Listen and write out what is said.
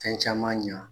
Fɛn caman ɲa